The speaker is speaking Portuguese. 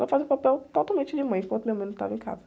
Ela fazia o papel totalmente de mãe enquanto minha mãe não estava em casa.